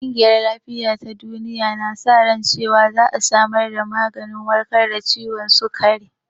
Ƙungiyar lafiya ta duniya na sa ran cewan za a samar da maganin warkar da ciwon sikari